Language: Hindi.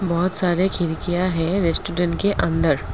बहुत सारे खिड़किया है रेस्टोरेंट के अंदर।